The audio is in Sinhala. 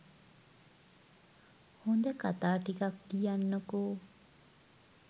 හොඳ කතා ටිකක් ලියන්නකො